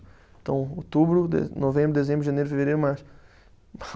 Então, outubro de, novembro, dezembro, janeiro, fevereiro, março.